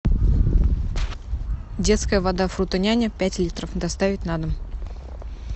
детская вода фрутоняня пять литров доставить на дом